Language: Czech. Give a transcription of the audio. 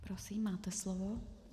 Prosím, máte slovo.